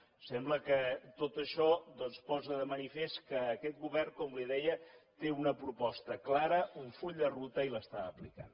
em sembla que tot això doncs posa de manifest que aquest govern com li deia té una proposta clara un full de ruta i l’està aplicant